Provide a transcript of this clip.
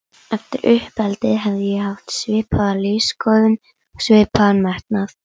Eftir uppeldið hefði ég haft svipaða lífsskoðun og svipaðan metnað.